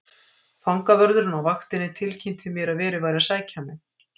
Fangavörðurinn á vaktinni tilkynnti mér að verið væri að sækja mig.